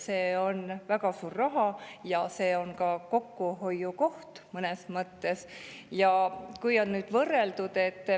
See on väga suur raha ja see on mõnes mõttes ka kokkuhoiukoht.